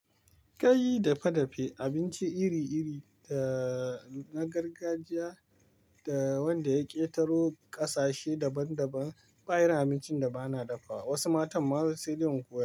Kai yi dafe dafe abinci iri iri da na gargajiya da wanda ya ƙetaro ƙasashe daban daban, ba irin abincin da bana dafawa wasu matan ma saidai in koyarwa.